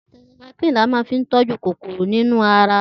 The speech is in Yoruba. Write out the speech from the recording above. Tetracycline la máa fi ń tọ́jú kòkòrò nínú ara